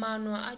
maano a